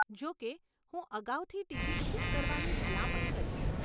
જોકે, હું અગાઉથી ટિકિટ બુક કરવાની ભલામણ કરીશ.